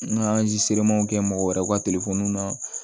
N ka kɛ mɔgɔ wɛrɛw ka na